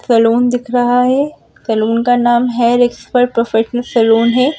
Salon दिख रहा है सलून का नाम हेयर एक्सपर्ट प्रोफेशनल सलून है।